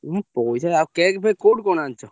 ଉଁ ପଇସା ଆଉ cake ଫେକ କୋଉଠୁ କଣ ଆଣିଛ?